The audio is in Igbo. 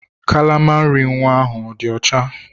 Kalama nri ahụ ọ dị ọcha?